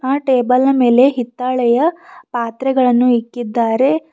ಆ ಟೇಬಲ್ನ ಮೇಲೆ ಹಿತ್ತಾಳೆಯ ಪಾತ್ರೆಗಳನ್ನು ಇಕ್ಕಿದ್ದಾರೆ.